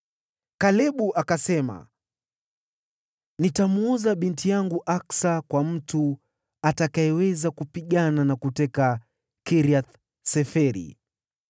Kalebu akasema, “Nitamwoza binti yangu Aksa kwa mtu atakayeweza kupigana na kuteka Kiriath-Seferi.”